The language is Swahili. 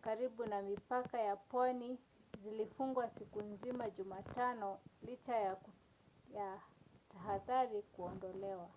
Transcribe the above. karibu na mipaka ya pwani zilifungwa siku nzima jumatano licha ya tahadhari kuondolewa